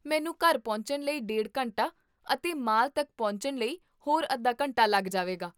ਮੈਨੂੰ ਘਰ ਪਹੁੰਚਣ ਲਈ ਡੇਢ ਘੰਟਾ ਅਤੇ ਮਾਲ ਤੱਕ ਪਹੁੰਚਣ ਲਈ ਹੋਰ ਅੱਧਾ ਘੰਟਾ ਲੱਗ ਜਾਵੇਗਾ